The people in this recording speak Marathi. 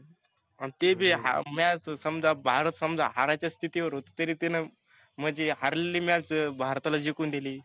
आन ते बी match तर समजा भारत समजा हारायच्या स्थिती वर होत तरी त्यानं म्हणजे हारलेली match भारताला जिकुन दिली.